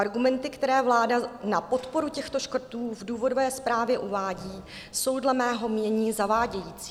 Argumenty, které vláda na podporu těchto škrtů v důvodové zprávy uvádí, jsou dle mého mínění zavádějící.